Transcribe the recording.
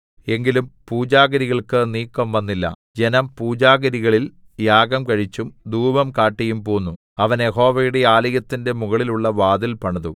എങ്കിലും പൂജാഗിരികൾക്ക് നീക്കംവന്നില്ല ജനം പൂജാഗിരികളിൽ യാഗം കഴിച്ചും ധൂപം കാട്ടിയും പോന്നു അവൻ യഹോവയുടെ ആലയത്തിന്റെ മുകളിലുള്ള വാതിൽ പണിതു